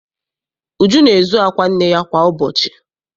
Uju na-ezu akwa nne ya kwa ụbọchị.